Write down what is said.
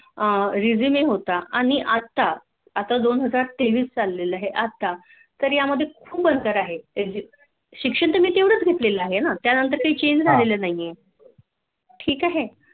अह Resume होता नई आता आता दोन हजार तेवीस चालले ल आहे आता या मध्ये खूप अंतर आहे शिक्षण मी तेवढाच घेतातले आहे ना त्यांनतर काही Change झालेलं नाही आहे